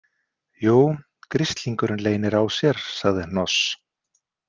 Jú, gríslingurinn leynir á sér, sagði Hnoss.